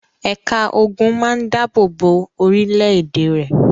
Ẹ̀ka ogun máa ń dáàbò bo orílẹ̀-èdè rẹ̀.